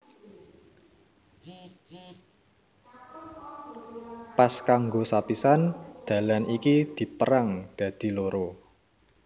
Pas kanggo sapisan dalan iki dipérang dadi loro